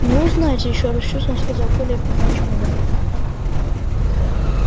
ну знаете ещё раз с чувством сказал коля и поднял чемодан